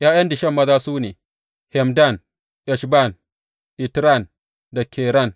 ’Ya’yan Dishon maza su ne, Hemdan, Eshban, Itran da Keran.